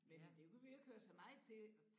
Men det kunne vi jo ikke høre så meget til